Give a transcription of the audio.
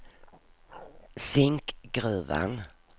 Zinkgruvan